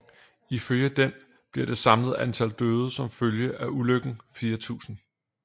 Ifølge den bliver det samlede antal døde som følge af ulykken 4000